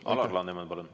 Alar Laneman, palun!